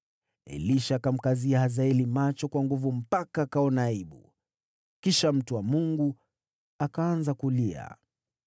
Elisha akamkazia Hazaeli macho kwa nguvu mpaka akaona aibu. Kisha mtu wa Mungu akaanza kulia.